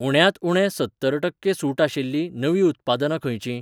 उण्यांत उणें सत्तर टक्के सूट आशिल्लीं नवीं उत्पादनां खंयचीं?